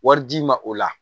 Wari d'i ma o la